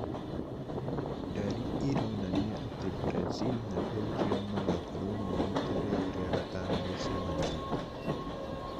Ndari ironania atĩ Brazil na Belgium magakorwo me rita rĩao rĩa gatano gũcemania